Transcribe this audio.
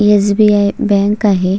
SBI bank आहे.